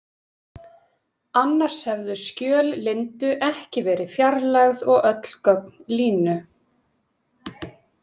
Annars hefðu skjöl Lindu ekki verið fjarlægð og öll gögn Línu.